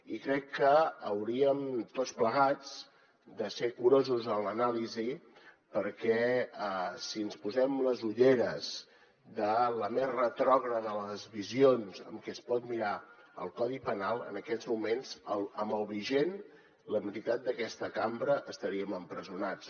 i crec que hauríem tots plegats de ser curosos en l’anàlisi perquè si ens posem les ulleres de la més retrògrada de les visions amb què es pot mirar el codi penal en aquests moments amb el vigent la meitat d’aquesta cambra estaríem empresonats